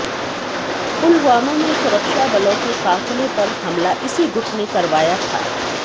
पुलवामा में सुरक्षा बलों के काफ़िले पर हमला इसी गुट ने करवाया था